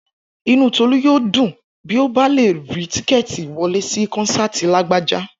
Inú Tọ́lá yóò dùn bí ó bá lè rí tíkẹ́ẹ̀tì wọlé sí kọ́nsáàti Lágbájá